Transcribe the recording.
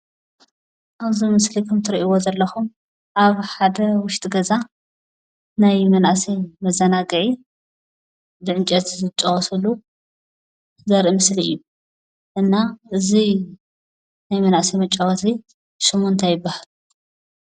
ኣብ እዚ ምስሊ እትርእዎ ዘለኩም ኣብ ሓደ ውሽጢ ገዛ ናይ መናእሰይ መዘናግዒ ብዕንጨይቲ ዝጫወትሉ ዘርኢ ምስሊ እዩ፡፡ እና እዚ ናይ መናእሳይ መጫወቲ ሽሙ እንታይ ይባሃል?